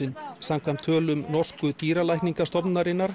laxalúsin samkvæmt tölum norsku